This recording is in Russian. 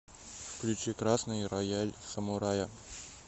включи красный рояль самурая